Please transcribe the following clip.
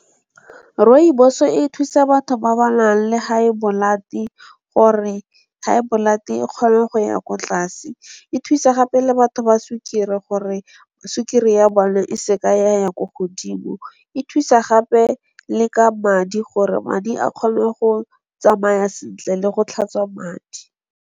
Rooibos e thusa batho ba ba nang le high blood gore, high blood e kgone go ya ko tlase. E thusa gape le batho ba sukiri gore, sukiri ya bona e se ka ya ya ko godimo, e thusa gape le ka madi gore madi a kgone go tsamaya sentle le go tlhatswa madi.